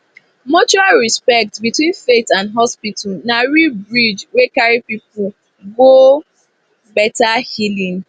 mutual respect between faith and hospital na real bridge wey carry people go better healing